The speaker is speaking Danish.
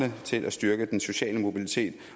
til at styrke den sociale mobilitet